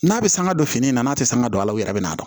N'a bɛ sanga don fini na n'a tɛ sanga don a la u yɛrɛ bɛ na dɔn